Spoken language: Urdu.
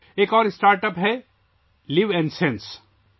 ایک اور startup live n sense ہے